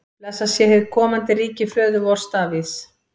Blessað sé hið komandi ríki föður vors Davíðs!